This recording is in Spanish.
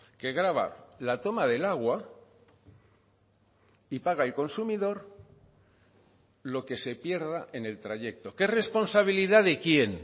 que grava la toma del agua y paga el consumidor lo que se pierda en el trayecto que es responsabilidad de quién